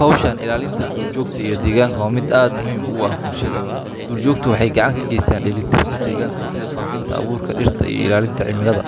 Hawshan ilaalinta duurjoogta iyo deegaanka waa mid aad muhiim ugu ah bulshada. Duurjoogtu waxay gacan ka geysataa dheelitirka deegaanka sida faafinta abuurka dhirta iyo ilaalinta cimilada.